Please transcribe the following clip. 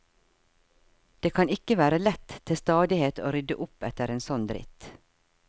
Det kan ikke være lett til stadighet å rydde opp etter en sånn dritt.